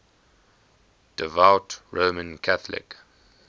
devout roman catholic